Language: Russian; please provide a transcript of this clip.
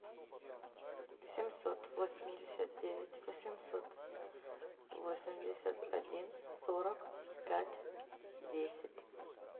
семьсот восемьдесят девять восемьсот восемьдесят один сорок пять десять